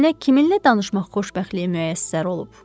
Mənə kiminlə danışmaq xoşbəxtliyi müəssər olub?